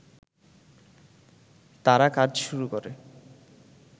তারা কাজ শুরু করে